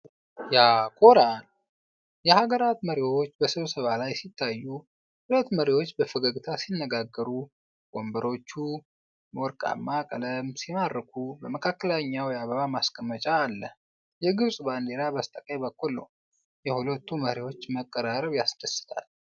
ያኮራል! የሀገራት መሪዎች በስብሰባ ላይ ሲታያዩ! ሁለቱ መሪዎች በፈገግታ ሲነጋገሩ። ወንበሮቹ ወርቃማ ቀለም ሲማርኩ! በመካከላቸው የአበባ ማስቀመጫ አለ። የግብፅ ባንዲራ በስተቀኝ በኩል ነው። የሁለቱ መሪዎች መቀራረብ ያስደስታል።